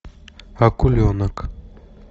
акуленок